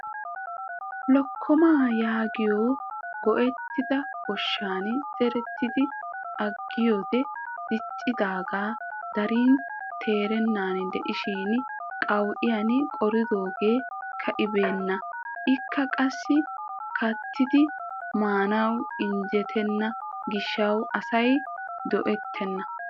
Lokkoomaa yaagiyoo gooyettida goshshaan zeeridi agiyoode diccidagaa darin teerenan diishin qawu'iyaan qoridoogee ka'ibenna. ikka qassi kattidi maanawu injettena giishshawu asay go"ettena.